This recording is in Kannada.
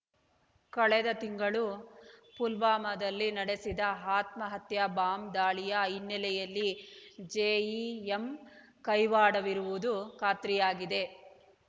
ಕಳೆದ ತಿಂಗಳು ಪುಲ್ವಾಮಾದಲ್ಲಿ ನಡೆಸಿದ ಆತ್ಮಹತ್ಯಾ ಬಾಂಬ್ ದಾಳಿಯ ಹಿನ್ನೆಲೆಯಲ್ಲಿ ಜೆಇಎಂ ಕೈವಾಡವಿರುವುದು ಖಾತ್ರಿಯಾಗಿದೆ